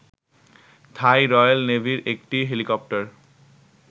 থাই royal নেভির একটি helicopter